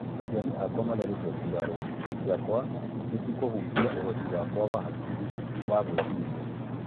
Aciari akwa marerigwo nguraro ciakwa nĩcĩkũhutia uhoti wa hakiri ciakwa wa gwĩciria.